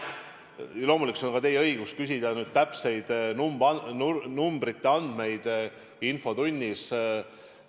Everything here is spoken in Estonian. Loomulikult, see on teie õigus küsida täpseid numbreid infotunnis.